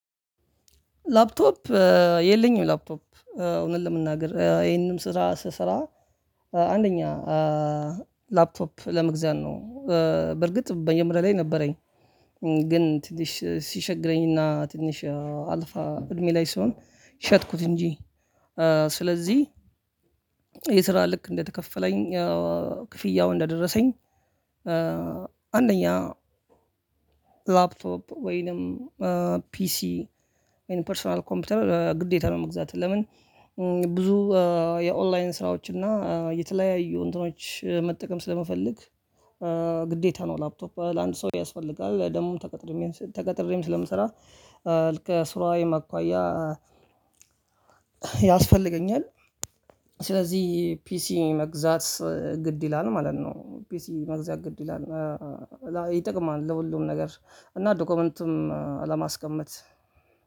ላፕቶፕ የለኝም ላፕቶፕ እውነት ለመናገር ይሄንንም ስራ ስሰራ አንደኛ ላፕቶፕ ለመግዛት ነው። በርግጥ መጀመሪያ ላይ ነበረኝ። ግን ትንሽ ሲቸግረኝና ትንሽ አልፋ እድሜ ላይ ስለሆንኩ ሸጥኩት እንጂ። ስለዚህ ይሄ ስራ ልክ እንደተከፈለኝ ክፍያው እንደደረሰኝ። አንደኛ ላፕቶፕ ወይንም ፒሲ ወይንም ፐርሰናል ኮምፒውተር ግዴታ ነው። መግዛት ለምን? ብዙ የኦላይን ስራዎችና የተለያዩ እንትኖች መጠቀም ስለምፈልግ። ግዴታ ነው ላፕቶፕ ለአንድ ሰው ያስፈልጋል። ደግሞም ተቀጥሬም ተቀጥሬም ስለምሰራ ልክ ከስራዬም አኳያ ያስፈልገኛል። ስለዚህ ፒሲ መግዛት ግድ ይላል ማለት ነው። ፒሲ መግዛት ግድ ይላል ይጠቅማል ለሁሉም ነገር። እና ዶክመንትም ለማስቀመጥ